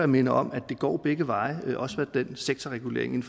minder om at det går begge veje også hvad sektorreguleringen